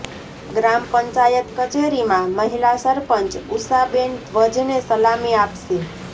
ગ્રામ પંચાયત કચેરીમાં મહિલા સરપંચ ઉષાબેન ધ્વજને સલામી આપશે